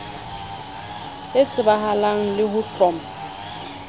e tsebahalang le ho hloma